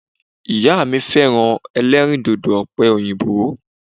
Ìyá mi féràn elérìndòdò òpè òyìnbó